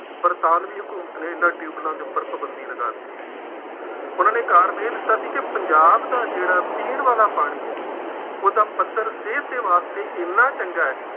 ਬਰਤਾਨਵੀਂ ਹਕੂਮਤ ਨੇ ਇਹਨਾ ਟਿਊਬੈੱਲਾਂ ਦੇ ਉੱਪਰ ਪਾਬੰਦੀ ਲਗਾ ਦਿੱਤੀ। ਉਹਨਾ ਨੇ ਕਾਰਨ ਇਹ ਦਿੱਤਾ ਸੀ ਕਿ ਪੰਜਾਬ ਦਾ ਜਿਹੜਾ ਪੀਣ ਵਾਲਾ ਪਾਣੀ ਹੈ ਉਹ ਪੱਧਰ ਸਿਹਤ ਦੇ ਵਾਸਤੇ ਐਨਾ ਚੰਗਾ ਹੈ,